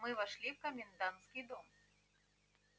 мы вошли в комендантский дом